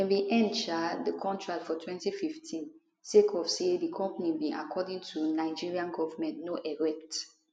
dem bin end um di contract for 2015 sake of say di company bin according to di nigerian goment no erect